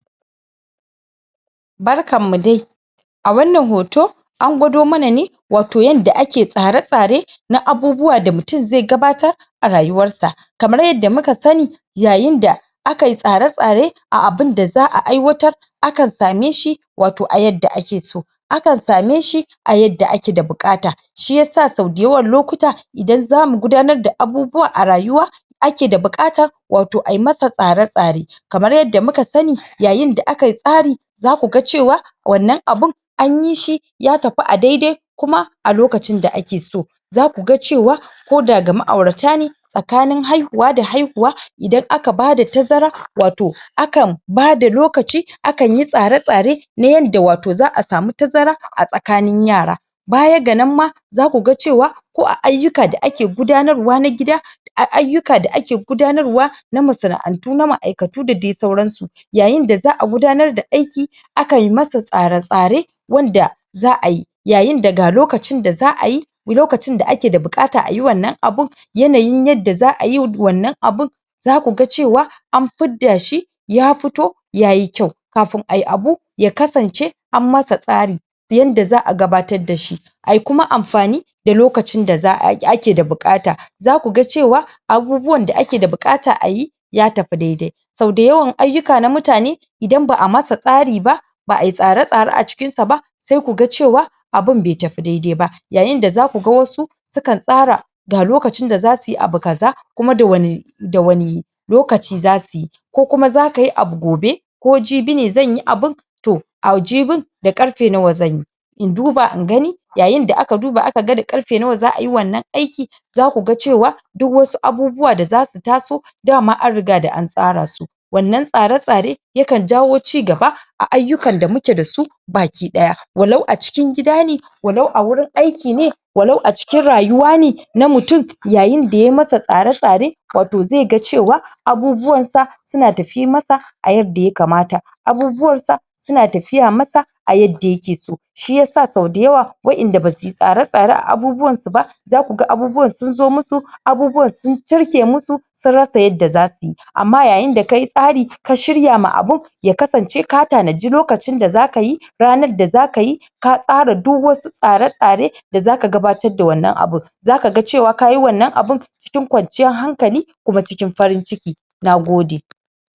Barkan mu dai! A wannan hoto, an gwado mana ne wato yanda ake tsare-tsare na abubuwa da mutum zai gabatar a rayuwar sa. Kamar yadda muka sani, yayin da aka yi tsare-tsare a abunda za'a aiwatar akan same shi wato a yadda ake so, akan same shi a yadda ake da buƙata. Shi yasa sau da yawan lokuta idan zamu gudanar da abubuwa a rayuwa, ake da buƙatar wato ayi masa tsare-tsare. Kamar yadda muka sani yayin da aka yi tsari za ku ga cewa wannan abun anyi shi ya tafi a dai-dai kuma a lokacin da ake so. Kuma za ku ga cewa koda ga ma'aurata ne tsakanin haihuwa da haihuwa idan aka bada tazara wato akan bada lokaci, akan yi tsare-tsare na yanda wato za'a samu tazara a tsakanin yara. Baya ga nan ma za ku ga cewa ko ayukka da ake gudanarwa na gida a ayukka da ake gudanarwa na masana'antu na ma'aikatu da dai sauran su. Yayin da za'a gudanar da aiki akan yi masa tsare-tsare wanda za'a yi. Yayin da ga lokacin da za'a yi lokacin da ake da buƙata ayi wannan abun, yanayin yadda za'ayi wannan abun za ku ga cewa an fidda shi, ya fito yayi kyau. Kafin ayi abu ya kasance an masa tsari ta yanda za'a gabatar da shi. Ayi kuma amfani da lokacin da a a akeda buƙata. Za ku ga cewa abubuwan da ake da buƙata ayi ya tafi dai-dai. Sau da yawan ayukka na mutane, idan ba'a masa tsari ba ba'a yi tsare-tsare a cikin sa ba, sai ku ga cewa abun bai tafi dai-dai ba. Yayin da za ku ga wasu sukan tsara ga lokacin da za su yi abu kaza, kuma da wane da wane lokaci za su yi. Ko kuma za ka yi abu gobe ko jibi ne zan yi abun, to a jibin da ƙarfe nawa zan yi? In duba in gani, yayin da aka duba aka ga da ƙarfe nawa za'a wannan aikin za ku gacewa, duk wasu abubuwa da za su taso dama an riga da an tsara su. Wannan tsare-tsare yakan jawo cigaba a ayukkan da muke da su baki ɗaya. walau a cikin gida ne, walau a wurin aiki ne walau a cikin rayuwa ne na mutum yayin da ya masa tsare-tsare wato zai ga cewa abubuwan sa su na tafi masa a yadda aya kamata. Abubuwan sa, su na tafiya masa a yadda ya ke so. Shi yasa sau da yawa waƴanda ba suyi tsare-tsare a abubuwan su ba, za ku ga abubuwan sun zo musu abubuwan sun cirke musu, sun rasa yadda za su yi. Amma yayin da ka yi tsari, ka shirya ma abun ya kasance ka tanaji lokacin da za ka yi, ranar da za ka yi ka tsara duk was u tsare-tsare da za ka gabatar wannan abun. Za ka ga cewa kayi wannan abun cikin kwanciyar hankali, kuma cikin farin ciki. Nagode!